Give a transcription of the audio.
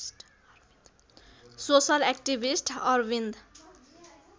social activist Arvind